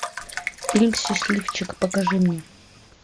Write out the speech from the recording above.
фильм счастливчик покажи мне